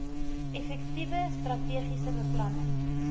effektiewe strategiese beplanning